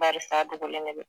barisa a dogolen de don